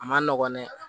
A ma nɔgɔn dɛ